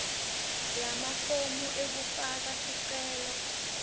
lamafomu ekufaka sicelo